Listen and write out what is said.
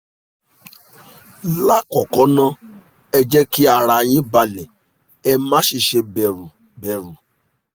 lákọ̀ọ́kọ́ ná ẹ jẹ́ kí ara yín balẹ̀ ẹ má sì ṣe bẹ̀rù bẹ̀rù